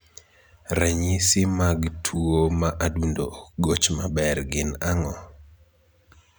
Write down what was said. Ranyisi mag tuo ma adundo ok goch maber gin ang'o?